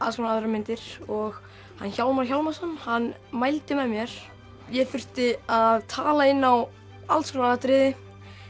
aðrar myndir og hann Hjálmar Hjálmarsson hann mældi með mér ég þurfti að tala inn á alls konar atriði